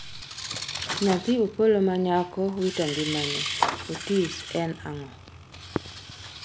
nyathi Opolo manyako wito ngimane, Otis en ng'a?